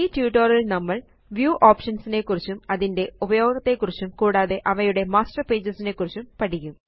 ഈ ട്യൂട്ടോറിയൽ ല് നമ്മൾ വ്യൂ ഓപ്ഷൻസ് നെക്കുറിച്ചും അതിന്റെ ഉപയോഗത്തെക്കുറിച്ചും കൂടാതെ അവയുടെ മാസ്റ്റർ പേജസ് നെക്കുറിച്ചും പഠിക്കും